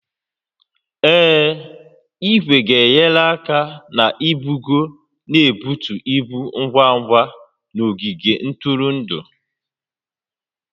Ee, igwe ga-enyere aka na-ibugo na ibutu ibu ngwa ngwa n'ogige ntụrụndụ